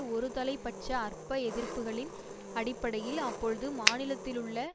ஒருதலை பட்ச அற்ப எதிர்ப்புக்களின் அடிப்படையில் அப்பொழுது மாநிலத்திலுள்ள